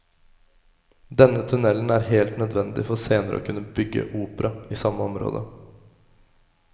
Denne tunnelen er helt nødvendig for senere å kunne bygge opera i samme område.